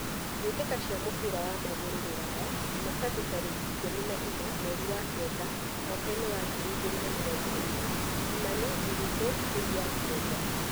mbĩ tĩ ka cia mũbira wa magũrũ Ruraya Jumatatu tarĩ ki ikũmi na inya mweri wa Kenda mwakainĩ wa ngiri igĩ rĩ na mĩ rongo ĩ rĩ : Kimani, Ndiritu, Kuria, Njenga.